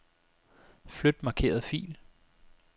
Flyt markerede fil.